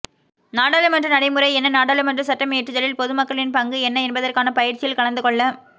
நாடாளுமன்ற நடைமுறை என்ன நாடாளுமன்ற சட்டமியற்றுதலில் பொதுமக்களின் பங்கு என்ன என்பதற்கான பயிற்சியில் கலந்துகொள்ள